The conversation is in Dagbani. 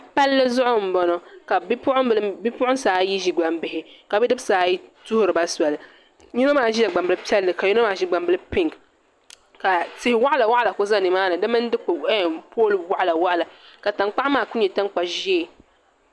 Palli zuɣu m boŋɔ ka bipuɣinsi ayi ʒi gbambihi ka bidibsi tuhiri yino maa ʒila gbambili piɛlli ka yino maa ʒi gbambili pinki ka ti'waɣala waɣala kuli za nimaani di mini pooli waɣala ka tankpaɣu maa kuli nyɛ tankpa ʒee.